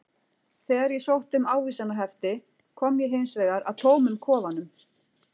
Þegar ég sótti um ávísanahefti kom ég hins vegar að tómum kofanum.